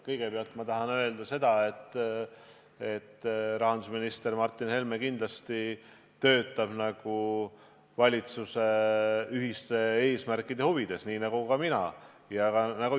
Kõigepealt tahan ma öelda, et rahandusminister Martin Helme töötab kindlasti valitsuse ühiste eesmärkide huvides, nagu ka mina ja Isamaa seda teeme.